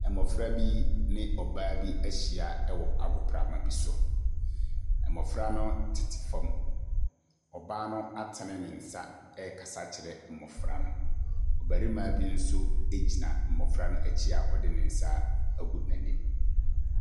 Mmɔfra bi ne ɔbaa bi ahyia wɔ agoprama bi so. Mmɔfra no tete fam. Ɔbaa no atene ne nsa rekasa kyerɛ mmɔfra no. Ɔbarima bi nso gyina mmɔfra no akyi a ɔde ne nsa agu n'anim.